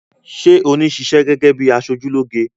Sé oní ṣiṣẹ́ gẹ́gẹ́ bíi aṣojúlóge?